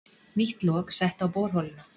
Nýtt lok sett á borholuna